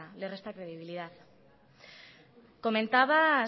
le resta credibilidad comentabas